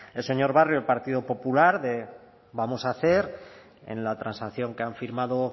el señor barrio del partido popular de vamos a hacer en la transacción que han firmado